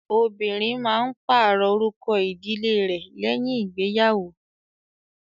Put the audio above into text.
Obìnrin máa ń pàrọ̀ orúkọ ìdílé rẹ̀ lẹ́yìn ìgbéyàwò.